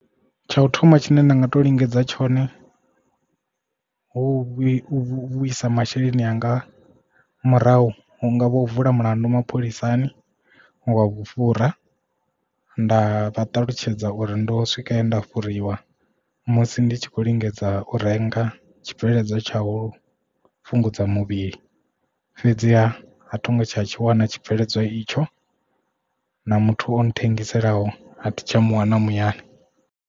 Tsha u thoma tshine nda nga to lingedza tshone hu vhe vhuise masheleni anga murahu hu nga vho u vula mulandu mapholisani wa vhufhura nda vha ṱalutshedza uri ndo swika he nda fhuriwa musi ndi tshi khou lingedza u renga tshibveledzwa tsha u fhungudza muvhili fhedziha a thongo tsha tshi wana tshibveledzwa itsho na muthu o nthengiselaho a thi tsha muwana muyani.